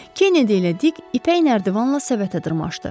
Kennedy ilə Dick ipək nərdivanla səbətə dırmaşdı.